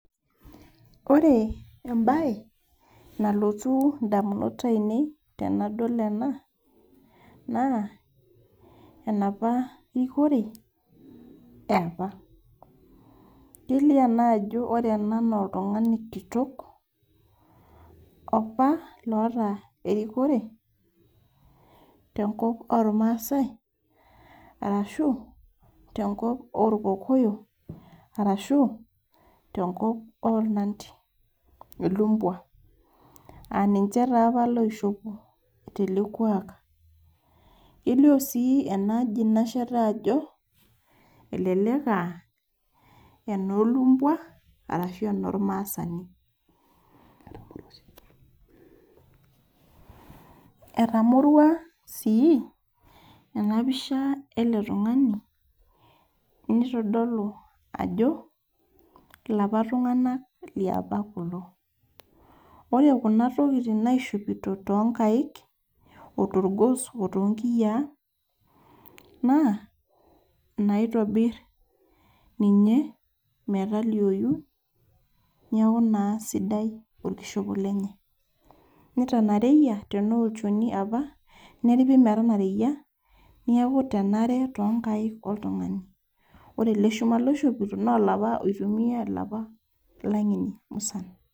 Ore ebae, nalotu indamunot ainei tenadol ena, naa, enapa rikore eapa. Kelio ena ajo ore ena noltung'ani kitok, opa loota erikore tenkop ormaasai, arashu, tenkop orkokoyo, arashu, tenkop ornandi. Ilumbua. Aninche tapa loishopo tele kuak. Kelio si enaaji nasheta ajo, elelek ah, enolumbua, arashu eno maasani. Etamorua si enapisha ele tung'ani, nitodolu ajo, ilapa tung'anak liapa kulo. Ore kuna tokiting naishopito tonkaik, otorgos otoonkiyiaa, naa, naitobir ninye, metalioyu, neeku naa sidai orkishopo lenye. Nitanareyia, tenaa olchoni apa, neripi metanareyia, nieku tenare tonkaik oltung'ani. Ore ele shuma loishopito, nolapa oitumiai ilapa ilang'eni musan.